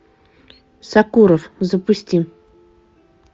сокуров запусти